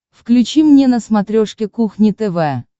включи мне на смотрешке кухня тв